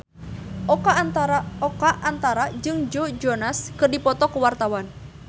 Oka Antara jeung Joe Jonas keur dipoto ku wartawan